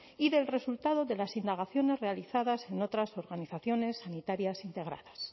y del resultado de las indagaciones realizadas en otras organizaciones sanitarias integradas